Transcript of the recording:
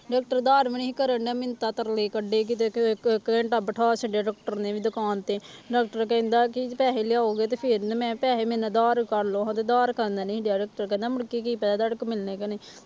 Doctor ਉਧਾਰ ਵੀ ਨੀ ਕਰਨਡਿਆ ਮਿੰਨਤਾਂ ਤਰਲੇ ਕੱਢੇ ਕਿਤੇ ਬਿੱਠਾ ਛੱਡਿਆ doctor ਨੇ ਵੀ ਦੁਕਾਨ ਤੇ doctor ਕਹਿੰਦਾ ਕਿ ਪੈਸੇ ਲਿਆਓਗੇ ਤੇ ਫਿਰ ਮੈਂ ਪੈਸੇ ਮੇਰੇ ਨਾਲ ਉਧਾਰ ਕਰ ਲਓ ਤੇ ਉਧਾਰ ਕਰਨ ਨੀ ਡਿਆ doctor ਕਹਿੰਦਾ ਮੁੜਕੇ ਕੀ ਪਤਾ ਤੁਹਾਡੇ ਕੋਲੋਂ ਮਿਲਣੇੇ ਕਿ ਨਹੀਂ।